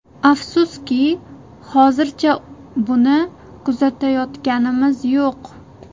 Afsuski, hozircha buni kuzatayotganimiz yo‘q.